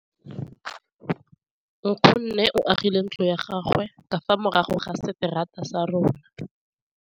Nkgonne o agile ntlo ya gagwe ka fa morago ga seterata sa rona.